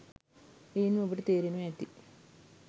එයින්ම ඔබට තේරෙනවා ඇති